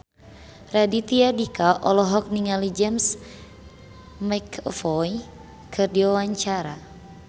Raditya Dika olohok ningali James McAvoy keur diwawancara